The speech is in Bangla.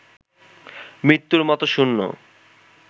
মৃত্যুর মতো শূন্য